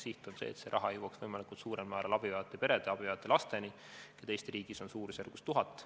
Siht on see, et see raha võimalikult suurel määral jõuaks abivajavate perede ja laste kätte, keda Eesti riigis on suurusjärgus 1000.